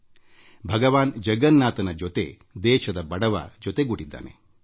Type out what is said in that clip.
ದೇಶದಲ್ಲಿ ಶೋಷಿತರು ಭಗವಾನ್ ಜಗನ್ನಾಥನೊಂದಿಗೆ ಆಳವಾದ ನಂಟು ಹೊಂದಿದ್ದಾರೆ